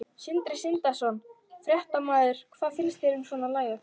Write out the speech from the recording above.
Sindri Sindrason, fréttamaður: Hvað finnst þér um svona lagað?